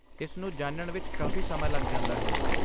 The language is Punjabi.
ਇਸ ਨੂੰ ਜਾਣਨ ਵਿੱਚ ਕਾਫ਼ੀ ਸਮਾਂ ਲੱਗ ਜਾਂਦਾ ਹੈ।